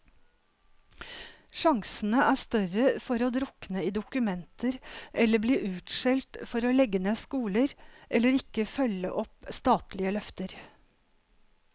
Sjansene er større for å drukne i dokumenter eller bli utskjelt for å legge ned skoler, eller ikke følge opp statlige løfter.